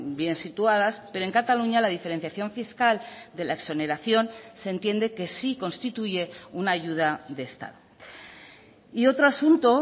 bien situadas pero en cataluña la diferenciación fiscal de la exoneración se entiende que sí constituye una ayuda de estado y otro asunto